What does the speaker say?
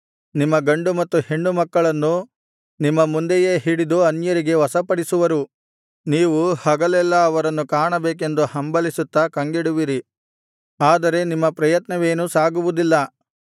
ನಿಮ್ಮ ಗಂಡು ಮತ್ತು ಹೆಣ್ಣು ಮಕ್ಕಳನ್ನು ನಿಮ್ಮ ಮುಂದೆಯೇ ಹಿಡಿದು ಅನ್ಯರಿಗೆ ವಶಪಡಿಸುವರು ನೀವು ಹಗಲೆಲ್ಲಾ ಅವರನ್ನು ಕಾಣಬೇಕೆಂದು ಹಂಬಲಿಸುತ್ತಾ ಕಂಗೆಡುವಿರಿ ಆದರೆ ನಿಮ್ಮ ಪ್ರಯತ್ನವೇನೂ ಸಾಗುವುದಿಲ್ಲ